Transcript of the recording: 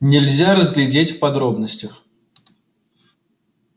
нельзя разглядеть в подробностях